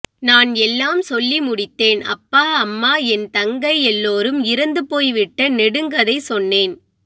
நான் எல்லாம் சொல்லி முடித்தேன் அப்பா அம்மா என் தங்கை எல்லாரும் இறந்துபோய் விட்ட நெடுங் கதை சொன்னேன்